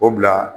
O bila